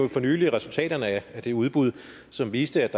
for nylig resultaterne af det udbud som viste